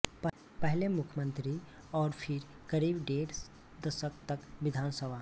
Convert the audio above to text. पहले मुख्यमंत्री और फिर करीब डेढ़ दशक तक विधान सभा